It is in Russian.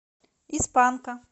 из панка